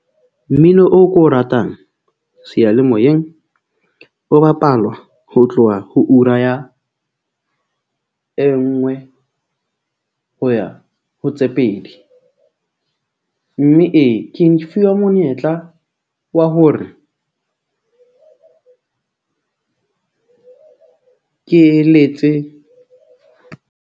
Mmino o ko o ratang seyalemoyeng o bapalwa ho tloha ho ura ya e nngwe ho ya ho tse pedi. Mme ee, ke fuwa monyetla wa hore ke eletse.